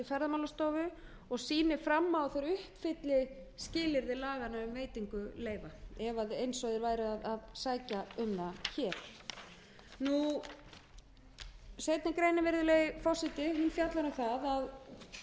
ferðamálastofu og sýni fram á að þeir uppfylli skilyrði laganna um veitingu laganna eins og verið væri að sækja um það hér seinni greinin virðulegi forseti hún fjallar um það að þar er verið